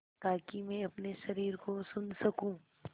ताकि मैं अपने शरीर को सुन सकूँ